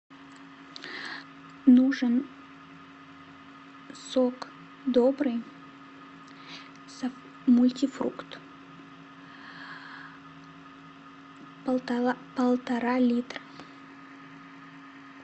нужен сок добрый мультифрукт полтора литра